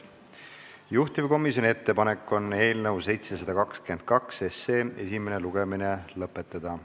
Juhtivkomisjoni ettepanek on eelnõu 722 esimene lugemine lõpetada.